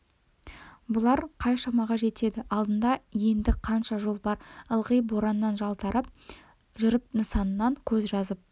бұлар қай шамаға жетеді алдында енді қанша жол бар ылғи бораннан жалтарып жүріп нысанасынан көз жазып